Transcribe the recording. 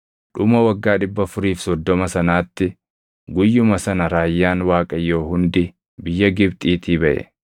Dhuma waggaa 430 sanaatti guyyuma sana raayyaan Waaqayyoo hundi biyya Gibxiitii baʼe.